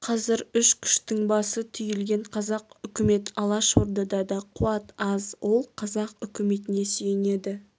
қазір үш күштің басы түйілген қазақ үкімет алашордада қуат аз ол қазақ үкіметіне сүйенеді